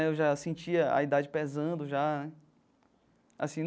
Eu já sentia a idade pesando já né assim.